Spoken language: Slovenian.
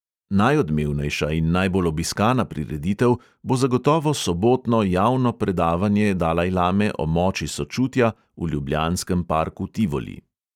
Najodmevnejša in najbolj obiskana prireditev bo zagotovo sobotno javno predavanje dalajlame o moči sočutja v ljubljanskem parku tivoli.